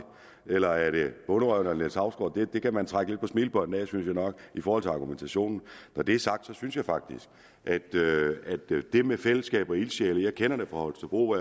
eller er det bonderøven eller niels hausgaard det det kan man trække lidt på smilebåndet af synes jeg nok i forhold til argumentationen når det er sagt synes jeg faktisk at det med fællesskab og ildsjæle jeg kender det fra holstebro